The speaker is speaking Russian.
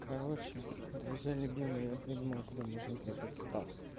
короче друзья любимые я придумал куда можно продать стафф